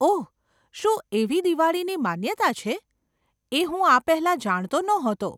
ઓહ, શું એવી દિવાળીની માન્યતા છે? એ હું આ પહેલાં જાણતો નહોતો.